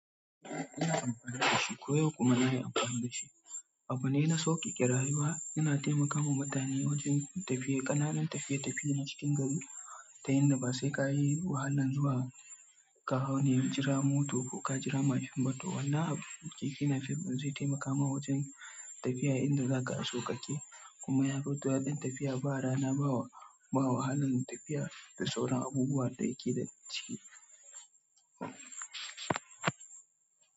Ina amfani da shi ko yau kuma na yi amfani da shi. Abune na sauƙeƙe rayuwa, yana taimaka ma mutane wajen tafiye, ƙananan tafiye-tafiye na cikin gari ta yanda ba sai, ka yi wahalan zuwa. Ka hau ne, jira moto ko ka jira mashin ba to. Wannan keke napep ɗin zai taimaka ma wajen tafiya inda za ka a sauƙaƙe, kuma ya fi to daɗin tafiya ba rana, ba wa. Ba wahalan tafiya da sauran abubuwan da yake da ciki.